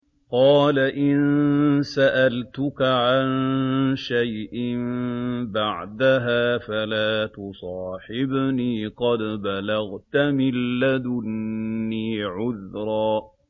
قَالَ إِن سَأَلْتُكَ عَن شَيْءٍ بَعْدَهَا فَلَا تُصَاحِبْنِي ۖ قَدْ بَلَغْتَ مِن لَّدُنِّي عُذْرًا